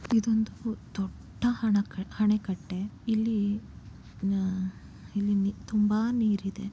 ಇದೊಂದು ದೊಡ್ಡ ಅಣಕ ಅಣೆಕಟ್ಟೆ. ಇಲ್ಲಿ ನ ಇಲ್ಲಿ ತುಂಬಾ ನೀರಿದೆ.